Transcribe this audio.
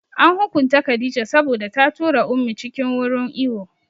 An hukunta Khadijah saboda ta tura Ummi cikin wurin iwo